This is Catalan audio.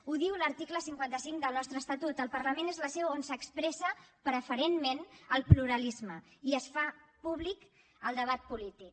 ho diu l’article cinquanta cinc del nostre estatut el parlament és la seu on s’expressa preferentment el pluralisme i es fa públic el debat polític